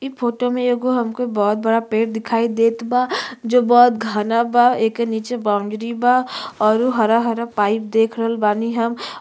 इ फोटो में एगो हमके बहोत बड़ा पेड़ दिखई देत बा जो बहोत घना बा एके नीचे बाउंड्री बा अउरु हरा-हरा पाइप देख रल बानी हम।